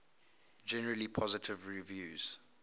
generally positive reviews